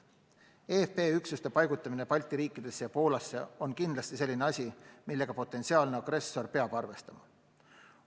NATO eFP üksuste paigutamine Balti riikidesse ja Poolasse on kindlasti selline asi, millega potentsiaalne agressor peab arvestama.